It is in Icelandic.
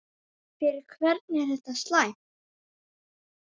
Fyrir hvern er þetta slæmt?